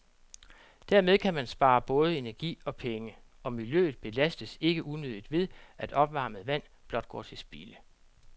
Dermed kan man spare både energi og penge, og miljøet belastes ikke unødigt ved, at opvarmet vand blot går til spilde.